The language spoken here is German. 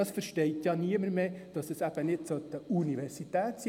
Dabei versteht niemand mehr, dass es sich eben nicht um eine Universität handelt.